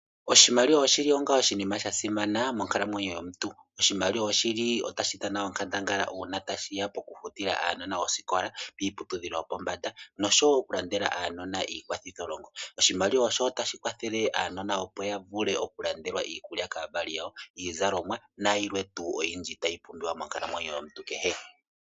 Oshimaliwa oshili onga oshima shasimana monkalamwenyo yomuntu, oshimaliwa oshili tashidhana onkandangala una tashiya pokufutila aanona osikola kiiputudhilo yopombanda nosho wo okulandela aanona iikwathitho longo, oshimaliwa sho otashi kwathele wo aanona opo yavule oku kandekwa iikulya kaavali yawo, iizalomwa nayilwe tu oyindji tayi pumbiwa monkalamwenyo yomuntu kehe.